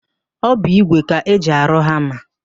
Ọ bụ ígwè ka eji arụ hama.